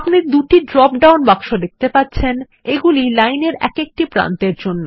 আপনি দুটি drop down বাক্স দেখতে পাচ্ছেন এগুলি লাইন এর এক একটি প্রান্তের জন্য